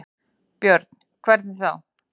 Björn: Hvernig þá?